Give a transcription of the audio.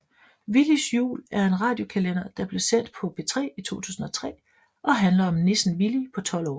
Villys jul er en radiojulekalender der blev sendt på P3 i 2003 og handler om nissen Villy på 12 år